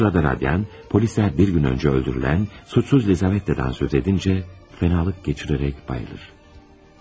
Bu sırada Rodyan polislər bir gün öncə öldürülən suçsuz Lizavetta'dan söz edincə fənalık keçirərək bayılır.